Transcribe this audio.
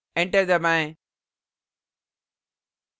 enter दबाएँ